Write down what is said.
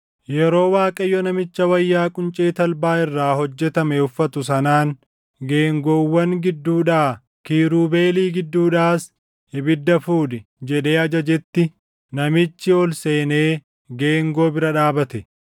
Yeroo Waaqayyo namicha wayyaa quncee talbaa irraa hojjetame uffatu sanaan, “Geengoowwan gidduudhaa, kiirubeelii gidduudhaas ibidda fudhi” jedhee ajajetti namichi ol seenee geengoo bira dhaabate.